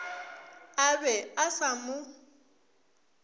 a be a sa mo